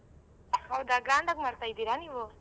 ಹೌದಾ grand ಆಗ್ ಮಾಡ್ತಿದೀರಾ ನೀವೂ?